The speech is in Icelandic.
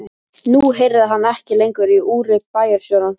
Nú heyrði hann ekki lengur í úri bæjarstjórans.